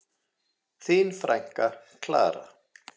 Þín frænka, Klara.